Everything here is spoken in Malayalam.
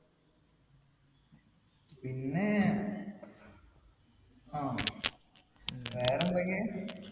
പിന്നെ ആഹ് വേറെന്തൊക്കെയാ